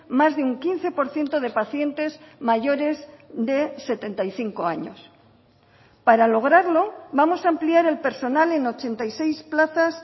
más de un quince por ciento de pacientes mayores de setenta y cinco años para lograrlo vamos a ampliar el personal en ochenta y seis plazas